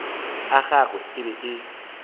a gagwe e be e